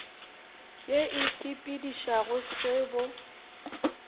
ye e sepedišago se bo